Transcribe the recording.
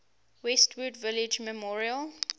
westwood village memorial